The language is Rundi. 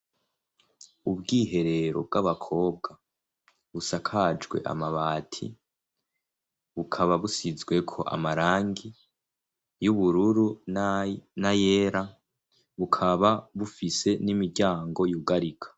Ubwiherero bw'abakobwa busakajwe amabati bukaba busizweko amarangi y'ubururu na yera bukaba bufise n'imiryango y'ugarika.